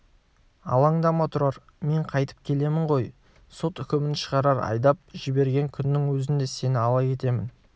алаңдама тұрар мен қайтып келемін ғой сот үкімін шығарар айдап жіберген күннің өзінде сені ала кетемін